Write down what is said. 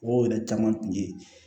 Wo yɛrɛ caman kun ye